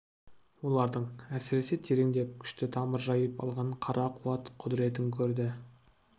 олардың әсіресе тереңдеп күшті тамыр жайып алған қара қуат құдіретін көрді